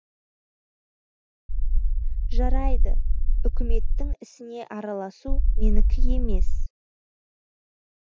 жарайды үкіметтің ісіне араласу менікі емес